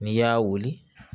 N'i y'a wuli